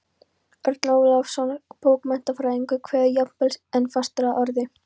Örn Ólafsson bókmenntafræðingur kveður jafnvel enn fastar að orði